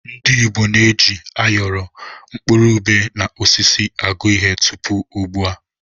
Ndị Igbo na-eji áyọrọ, mkpụrụ ubé na osisi agụ ihe tupu ugbu a.